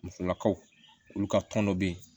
Musolakaw olu ka tɔn dɔ bɛ yen